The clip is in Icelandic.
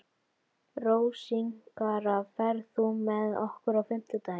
Rósinkara, ferð þú með okkur á fimmtudaginn?